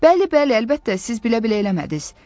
Bəli, bəli, əlbəttə, siz bilə-bilə eləmədiniz.